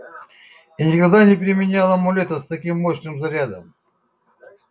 и никогда не применял амулета с таким мощным зарядом